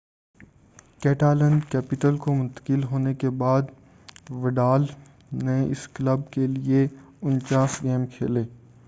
Catalan capital کو منتقل ہونے کے بعد وڈال نے اس کلب کے لئے 49 گیم کھیلے